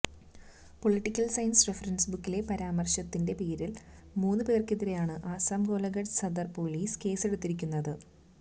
political science reference ബുക്കിലെ പരാമര്ശത്തിന്റെ പേരില് മൂന്ന് പേര്ക്കെതിരെയാണ് ആസ്സാം ഗോലഖട്ട് സാധര് പൊലീസ് കേസെടുത്തിരിക്കുന്നത്